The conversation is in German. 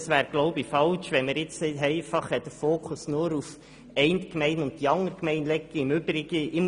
Es wäre falsch, den Fokus nur auf die eine oder andere Gemeinde zu legen.